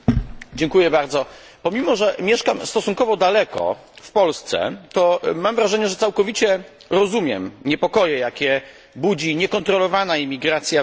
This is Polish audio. Pomimo, że mieszkam stosunkowo daleko, w Polsce, to mam wrażenie, że całkowicie rozumiem niepokoje, jakie budzi niekontrolowana imigracja we Francji czy we Włoszech.